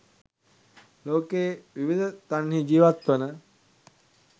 ලෝකයේ විවිධ තන්හි ජීවත්වන